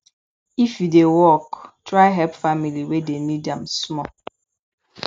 if you dey work try help family wey dey need am small